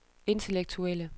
intellektuelle